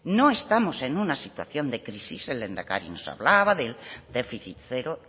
no estamos en una situación de crisis el lehendakari nos hablaba del déficit cero